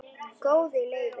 Góði Leifur minn,